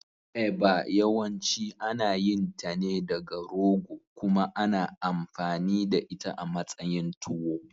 Eba yawanci ana yin ta ne daga rogo kuma ana amfani da ita a matsayin tuwo.